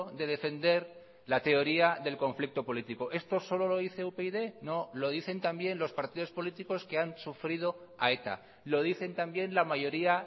de defender la teoría del conflicto político esto solo lo dice upyd no lo dicen también los partidos políticos que han sufrido a eta lo dicen también la mayoría